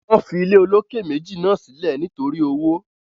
wọ́n fi ilé olókè méjì náà sílẹ̀ nítorí owó.